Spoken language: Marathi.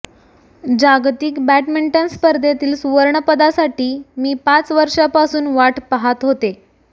जागतिक बॅडमिंटन स्पर्धेतील सुवर्णपदासाठी मी पाच वर्षांपासून वाट पहात होते